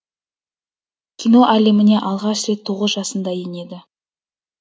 кино әлеміне алғаш рет тоғыз жасында енеді